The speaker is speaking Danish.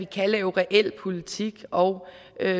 kan lave reel politik og